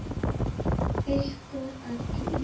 Ykkur öllum!